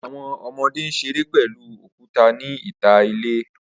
Awọn ọmọde n ṣere pẹlu okuta ni ita ile.